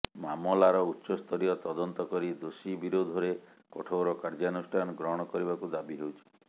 ମାମଲାର ଉଚ୍ଚସ୍ତରୀୟ ତଦନ୍ତ କରି ଦୋଷୀ ବିରୋଧରେ କଠୋର କାର୍ୟ୍ୟାନୁଷ୍ଠାନ ଗ୍ରହଣ କରିବାକୁ ଦାବି ହେଉଛି